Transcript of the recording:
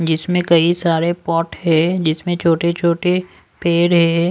जिसमें कई सारे पॉट है जिसमें छोटे-छोटे पेड़ है।